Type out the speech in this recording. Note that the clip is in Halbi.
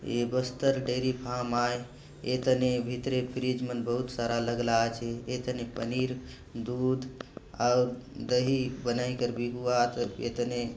ये बस्तर डेयरी फार्म आय ए तने भीतरे फ्रीज़ मन बहुत सारा लगला आचे ए तने पनीर दूध अउर दही बनाईकर बिगवात ये तने।